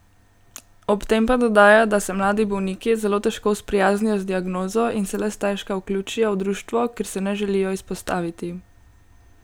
Ob tem pa dodaja, da se mladi bolniki zelo težko sprijaznijo z diagnozo in se le stežka vključijo v društvo, ker se ne želijo izpostaviti.